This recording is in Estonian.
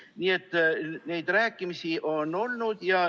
Nii et neid rääkimisi on olnud.